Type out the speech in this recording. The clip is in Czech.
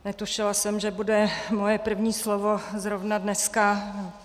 Netušila jsem, že bude moje první slovo zrovna dneska.